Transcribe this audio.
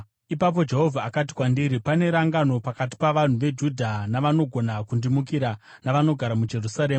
Ipapo Jehovha akati kwandiri, “Pane rangano pakati pavanhu veJudha navanogona kundimukira navanogara muJerusarema.